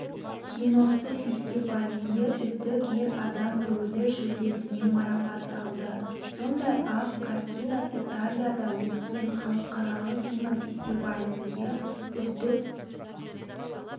киносы фестивалінде үздік ер адам рөлі жүлдесімен марапатталды сондай-ақ картина италияда өткен халықаралық кинофестивалінде үздік